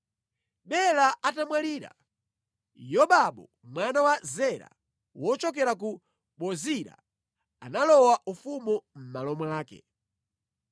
Bela atamwalira, Yobabu mwana wa Zera wochokera ku Bozira analowa ufumu mʼmalo mwake.